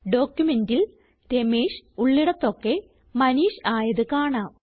ഡോക്യുമെന്റിൽ രമേഷ് ഉള്ളിടതൊക്കെ മനീഷ് ആയത് കാണാം